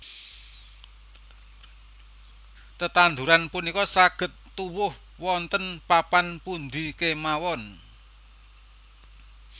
Tetanduran punika saged tuwuh wonten papan pundi kemawon